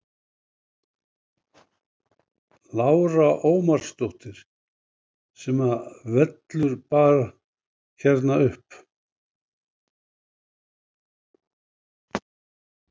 Lára Ómarsdóttir: Sem að vellur bara hérna upp?